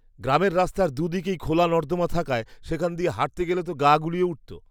গ্রামের রাস্তার দু'দিকেই খোলা নর্দমা থাকায় সেখান দিয়ে হাঁটতে গেলেই তো গা গুলিয়ে উঠত।